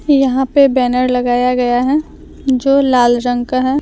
यहां पे बैनर लगाया गया है जो लाल रंग का है।